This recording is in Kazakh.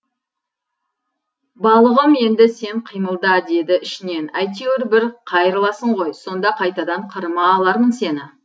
балығым енді сен қимылда деді ішінен әйтеуір бір қайырыласың ғой сонда қайтадан қырыма алармын сені